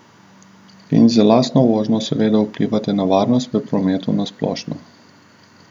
In z lastno vožnjo seveda vplivate na varnost v prometu na splošno.